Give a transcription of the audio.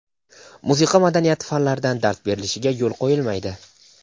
musiqa madaniyati fanlaridan dars berilishiga yo‘l qo‘yilmaydi.